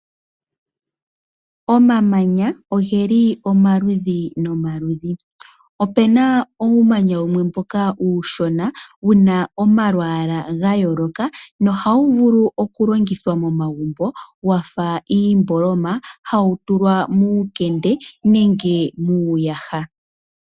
Omamanya ogeli omaludhi nomaludhi, opuna uumanya wumwe yushona wuna omalwaala gayooloka nohawu vulu okulongithwa momagumbo wafa iimboloma. Hawu tulwa muukende nenge muuyaha.